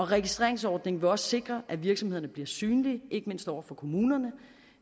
registreringsordningen vil også sikre at virksomhederne bliver synlige ikke mindst over for kommunerne